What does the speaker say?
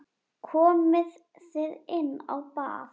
Komið þið inn á bað.